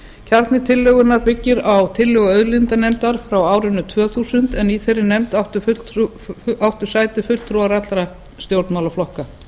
kjarni tillögunnar byggir á tillögu auðlindanefndar frá árinu tvö þúsund en í þeirri nefnd áttu sæti fulltrúar allra stjórnmálaflokka